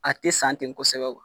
A te san ten kosɛbɛ